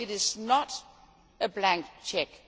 So it is not a blank cheque.